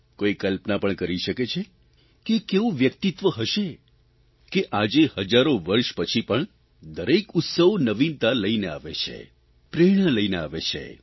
કોઇ કલ્પના પણ કરી શકે છે કે એ કેવું વ્યક્તિત્વ હશે કે આજે હજારો વર્ષો પછી પણ દરેક ઉત્સવ નવીનતા લઇને આવે છે પ્રેરણા લઇને આવે છે